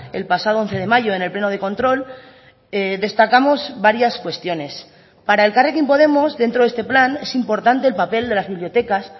el pasado once de mayo en el pleno de control destacamos varias cuestiones para elkarrekin podemos dentro de este plan es importante el papel de las bibliotecas